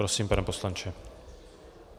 Prosím, pane poslanče.